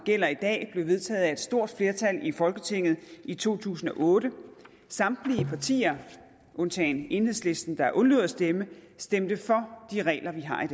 gælder i dag blev vedtaget af et stort flertal i folketinget i to tusind og otte samtlige partier undtagen enhedslisten der undlod at stemme stemte for de regler vi har i